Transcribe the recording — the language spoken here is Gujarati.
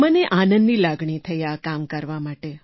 મને આનંદની લાગણી થઈ આ કામ કરવા માટે